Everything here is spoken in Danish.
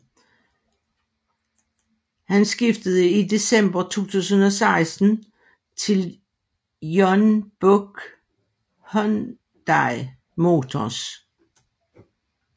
Han skiftede i december 2016 til Jeonbuk Hyundai Motors